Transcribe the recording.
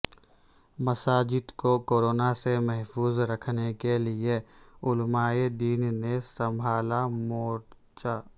مساجد کو کورونا سے محفوظ رکھنے کے لئے علمائے دین نے سنبھالا مورچہ